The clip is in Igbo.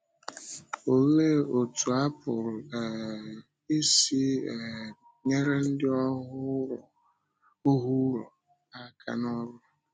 Òlee otú a pụrụ um isi um nyere ndị ọhụụ̀rò aka n’ọ́rụ?